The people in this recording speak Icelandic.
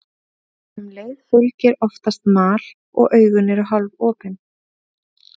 Um leið fylgir oftast mal og augun eru hálfopin.